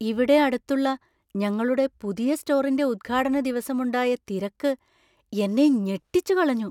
ഇവിടെ അടുത്തുള്ള ഞങ്ങളുടെ പുതിയ സ്റ്റോറിന്‍റെ ഉദ്ഘാടന ദിവസം ഉണ്ടായ തിരക്ക് എന്നെ ഞെട്ടിച്ചുകളഞ്ഞു.